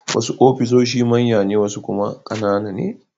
Wasu ofisoshi manya ne wasu kuma ƙanana ne.